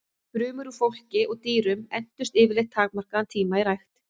Frumur úr fólki og dýrum entust yfirleitt takmarkaðan tíma í rækt.